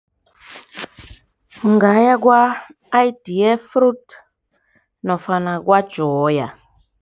Ungaya kwa-Ideafruits nofana kwa-Joy.